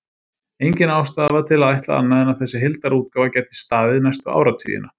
Engin ástæða var til að ætla annað en að þessi heildarútgáfa gæti staðið næstu áratugina.